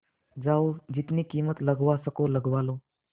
जाओ जितनी कीमत लगवा सको लगवा लो